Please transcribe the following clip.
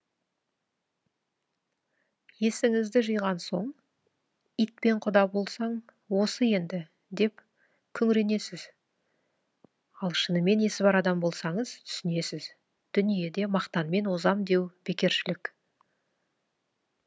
есіңізді жиған соң итпен құда болсаң осы енді деп күңіренесіз ал шынымен есі бар адам болсаңыз түсінесіз дүниеде мақтанмен озам деу бекершілік